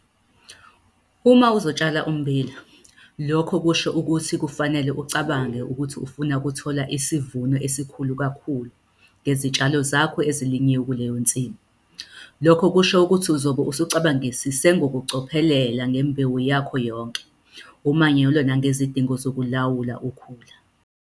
Uma uzotshala ummbila, lokho kusho ukuthi kufanele ucabange ukuthi ufuna ukuthola isivuno esikhulu kakhulu ngezitshalo zakho ezilinywe kuleyo nsimu. Lokhu kusho ukuthi uzobe usucabangisise ngokucophelela ngembewu yakho yonke, umanyolo nangezidingo zokulawula ukhula.